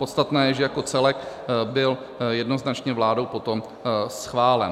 Podstatné je, že jako celek byl jednoznačně vládou potom schválen.